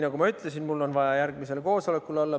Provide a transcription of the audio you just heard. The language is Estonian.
Nagu ma ütlesin, mul oli vaja järgmisel koosolekul olla.